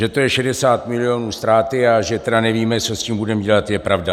Že to je 60 milionů ztráty, a že tedy nevíme, co s tím budeme dělat, je pravda.